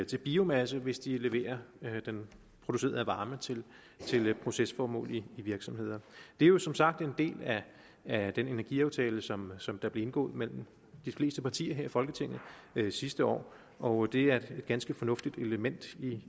til biomasse hvis de leverer den producerede varme til procesformål i virksomheder det er jo som sagt en del af den energiaftale som som blev indgået mellem de fleste partier her i folketinget sidste år og det er et ganske fornuftigt element